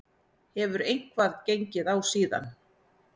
Hefur eitthvað gengið á síðan?